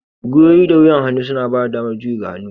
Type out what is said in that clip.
Gwiwowi da wuyan hannu suna bada damar juyi ga hannu